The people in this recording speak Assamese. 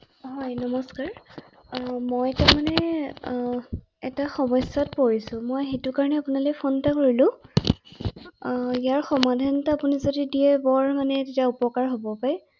হয়, নমস্কাৰ আৰু মই তাৰমানে এটা সমস্যাত পৰিছো ৷মই সেইটো কাৰণে আপোনালৈ ফোন এটা কৰিলো৷ ইয়াৰ সমাধানটো আপুনি যদি দিয়ে বৰ মানে তেতিয়া উপকাৰ হ’ব পায়৷